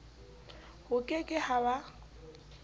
ho ke ke ha ba